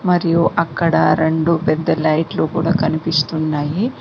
మరియు అక్కడ రెండు పెద్ద లైట్లు కూడా కనిపిస్తున్నాయి.